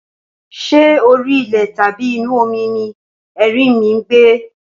Ṣé orí ilẹ̀ tàbí inú omi ni erinmi ń gbé?